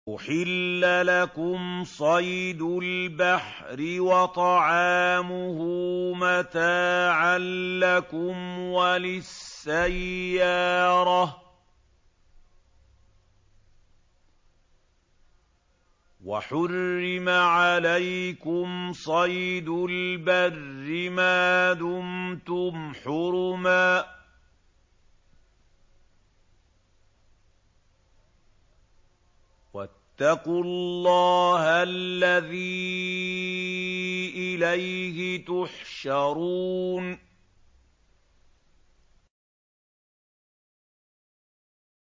أُحِلَّ لَكُمْ صَيْدُ الْبَحْرِ وَطَعَامُهُ مَتَاعًا لَّكُمْ وَلِلسَّيَّارَةِ ۖ وَحُرِّمَ عَلَيْكُمْ صَيْدُ الْبَرِّ مَا دُمْتُمْ حُرُمًا ۗ وَاتَّقُوا اللَّهَ الَّذِي إِلَيْهِ تُحْشَرُونَ